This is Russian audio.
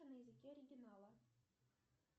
на языке оригинала